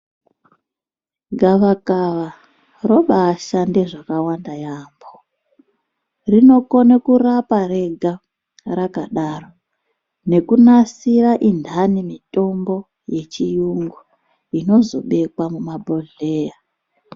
Gavakava robashande zvakawanda yaambo rinokone kurapa rega rakadaro nekunasira indani mitombo yechiyungu inozobekwa mumabhodhleya.